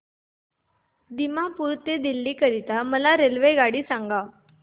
दिमापूर ते दिल्ली करीता मला रेल्वेगाडी सांगा